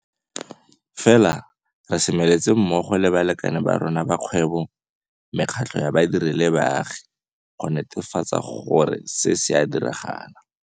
Fela re semeletse mmogo le balekane ba rona ba kgwebo, mekgatlo ya badiri le baagi go netefatsa gore se se a diragala.